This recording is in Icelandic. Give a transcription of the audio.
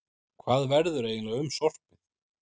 Hvað verður eiginlega um sorpið?